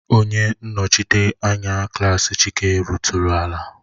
Onye nnochite anya klaasị Chike ritụrụ ala